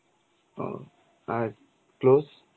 ও আর close?